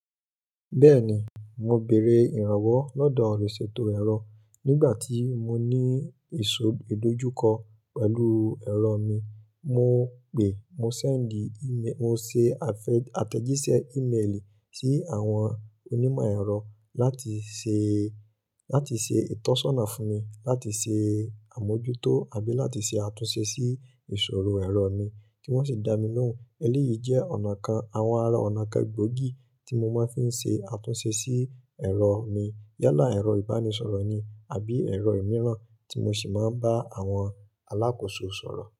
Bẹ́ẹ̀ni, mo bèèrè ìrànwọ́ lọ́dọ̀ olùṣètò ẹ̀rọ nígbà tí mo ní ìṣòdójú kọ pẹ̀lú ẹ̀rọ mi, mo pè mo sẹ́ẹ̀ndì íme-- mo ṣe àfẹ-- àtẹ̀jíṣẹ́ íméèlì sí àwọn onímọ̀ ẹ̀rọ láti ṣe, láti ṣe ìtọ́sọ́nà fún mi, láti ṣe àmójútó àbí láti ṣe àtúnṣe sí ìṣòro ẹ̀rọ mi kí wọ́n sì dá mi lóhùn. Eléyìí jẹ́ ọ̀nà kan, àwọn ara ọ̀nà kan gbogi tí mo máa ń fi ń ṣe àtúnṣe sí ẹ̀rọ mi. Yálà ẹ̀rọ ìbánisọ̀rọ̀ ni àbí ẹ̀rọ ìmíràn tí mo sì máa ń bá àwọn alákòóso sọ̀rọ̀.